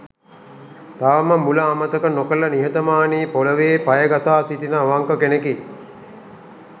තවම මුල අමතක නොකළ නිහතමානී පොළොවේ පය ගසා සිටින අවංක කෙනෙකි.